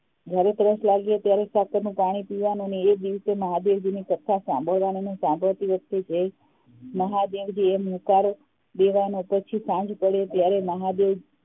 જયારે તરસ લાગે ત્યારે સાકરનું પાણી પીવાનું અને એ દિવસ એ મહાદેવજીની કથા સાંભળવાની અને કથા સાંભળતી વખતે મહાદેવજી એમ હુંકારો દેવા નો પછી સાંજ પડે ત્યારે મહાદેવ